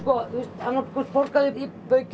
annaðhvort borga þau í baukinn